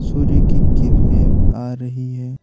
सूर्य की किरणें आ रही है।